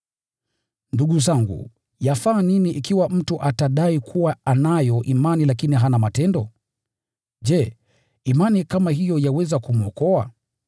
Ndugu zangu, yafaa nini ikiwa mtu atadai kuwa anayo imani lakini hana matendo? Je, imani kama hiyo yaweza kumwokoa?